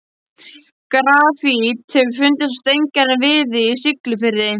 Grafít hefur fundist á steingerðum viði í Siglufirði.